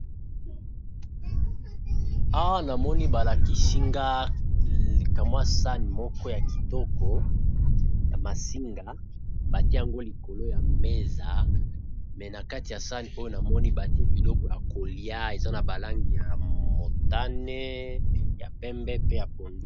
Awa namoni balakisinga kamwa sane moko ya kitoko ya masinga batiango likolo ya mesa me na kati ya sane oyo namoni batie biloko ya kolia eza na balangi ya motane ya pembe pe ya pono